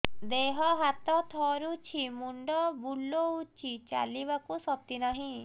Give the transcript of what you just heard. ଦେହ ହାତ ଥରୁଛି ମୁଣ୍ଡ ବୁଲଉଛି ଚାଲିବାକୁ ଶକ୍ତି ନାହିଁ